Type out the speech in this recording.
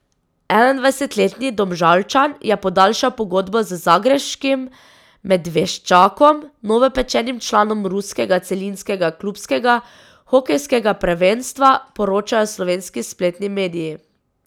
Enaindvajsetletni Domžalčan je podaljšal pogodbo z zagrebškim Medveščakom, novopečenim članom ruskega celinskega klubskega hokejskega prvenstva, poročajo slovenski spletni mediji.